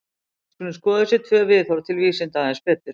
Við skulum skoða þessi tvö viðhorf til vísinda aðeins betur.